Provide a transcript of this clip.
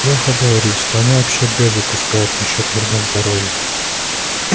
лёха говорит что они вообще дезу пускают насчёт вреда здоровью